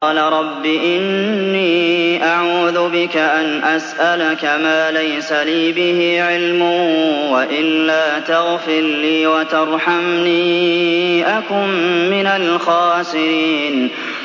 قَالَ رَبِّ إِنِّي أَعُوذُ بِكَ أَنْ أَسْأَلَكَ مَا لَيْسَ لِي بِهِ عِلْمٌ ۖ وَإِلَّا تَغْفِرْ لِي وَتَرْحَمْنِي أَكُن مِّنَ الْخَاسِرِينَ